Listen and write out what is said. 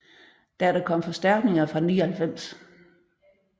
Da der kom forstærkninger fra 99